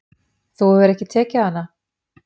Þú hefur ekki tekið hana?